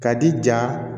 Ka di ja